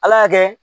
Ala y'a kɛ